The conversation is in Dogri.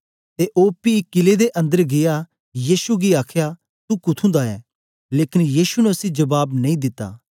ते ओ पी कीले दे अन्दर गीया यीशु गी आखया तू कुथुं दा ऐं लेकन यीशु ने उसी जबाब नेई दिता